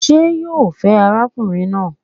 Ṣé yo fẹ́ arákùnrin náà?